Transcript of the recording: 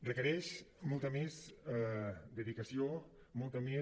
requereix molta més dedicació molta més